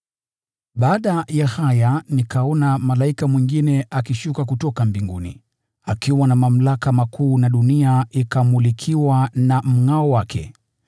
Baada ya haya nikaona malaika mwingine akishuka kutoka mbinguni, akiwa na mamlaka makuu na dunia ikamulikiwa na mngʼao wake.